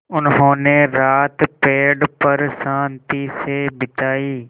उन्होंने रात पेड़ पर शान्ति से बिताई